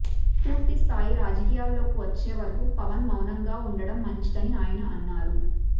పూర్తి స్థాయి రాజకీయాల్లోకి వచ్చేవరకు పవన్ మౌనంగా ఉండడం మంచిదని ఆయన అన్నారు